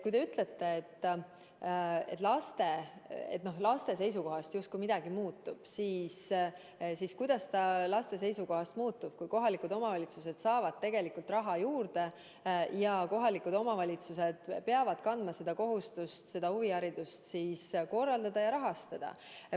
Kui te ütlete, et laste seisukohast justkui midagi muutub, siis kuidas ta laste seisukohast muutub, kui kohalikud omavalitsused saavad tegelikult raha juurde ja kohalikud omavalitsused peavad kandma kohustust huviharidust korraldada ja rahastada?